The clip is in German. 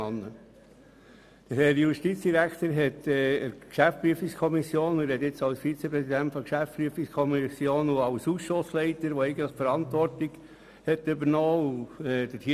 Nun spreche ich als GPK-Vizepräsident und als Ausschussleiter mit der Verantwortung für die Prüfung dieses Berichts.